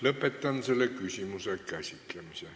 Lõpetan selle küsimuse käsitlemise.